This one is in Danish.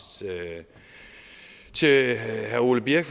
til herre ole birk